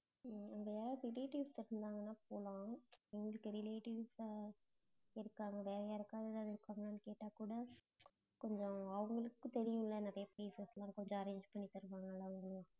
உம் அங்க யாராவது relatives இருந்தாங்கனா போலாம் எங்களுக்கு relatives அ இருக்காங்க. யாருக்காவது எதாவது இருக்காங்களான்னு கேட்டா கூட கொஞ்சம் அவங்களுக்கு தெரியும்ல நிறைய places லாம் கொஞ்சம் arrange பண்ணி தருவாங்கல அவங்களும்